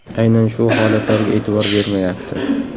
Aynan shu holatlarga e’tibor bermayapti.